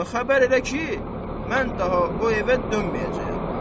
Və xəbər elə ki, mən daha o evə dönməyəcəyəm.